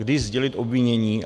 Kdy sdělit obvinění.